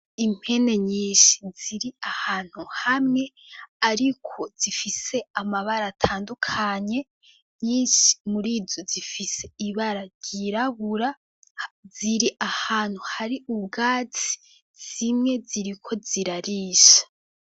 Impene nyinshi ziri ahantu hamwe ariko zifise amabara atandukanye, nyinshi muri zo zifise ibara ryirabura, ziri ahantu hari ubwatsi, zimwe ziriko zirarisha.